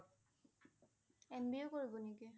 MBA কৰিব নেকি?